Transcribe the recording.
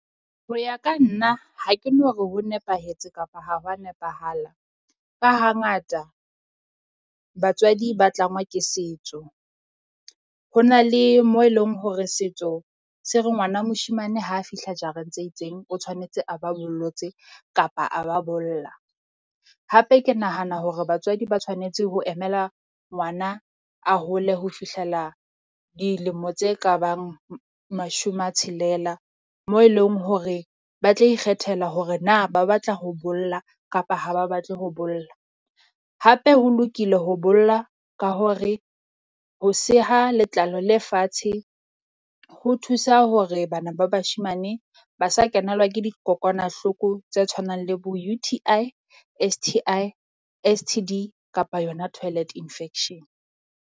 Ho ya ka nna ha ke no re ho nepahetse kapa ha ho wa nepahala. Ka hangata batswadi ba tlangwa ke setso, ho na le mo e leng hore setso se re ngwana moshemane ha fihla jarang tse itseng, o tshwanetse a ba bollotse kapa a ba bolla. Hape ke nahana hore batswadi ba tshwanetse ho emela ngwana a hole ho fihlela dilemo tse ka bang mashome a tshelela mo e leng hore ba tla ikgethela hore na ba batla ho bolla kapa ha ba batle ho bolla. Hape ho lokile ho bolla ka hore ho seha letlalo le fatshe ho thusa hore, bana ba bashemane ba sa kenelwa ke dikokwanahloko tse tshwanang le bo U_T_I, S_T_I, S_T_D kapa yona toilet infection.